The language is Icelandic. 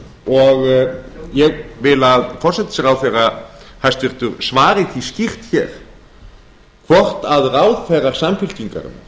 og ég vil að hæstvirtur forsætisráðherra svari því skýrt hvort ráðherrum samfylkingarinnar